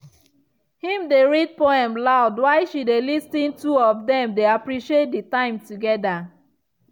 him dey read poem loud while she dey lis ten two of them dey appreciate the time together.